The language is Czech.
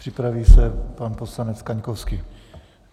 Připraví se pan poslanec Kaňkovský.